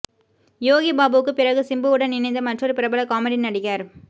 யோகி பாபுவுக்கு பிறகு சிம்புவுடன் இணைந்த மற்றொரு பிரபல காமெடி நடிகர்